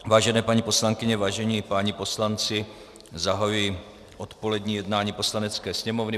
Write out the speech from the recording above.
Vážené paní poslankyně, vážení páni poslanci, zahajuji odpolední jednání Poslanecké sněmovny.